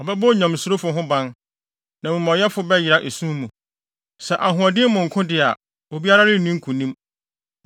Ɔbɛbɔ onyamesurofo ho ban, na amumɔyɛfo bɛyera esum mu. “Sɛ ahoɔden mu nko de a, obiara renni nkonim.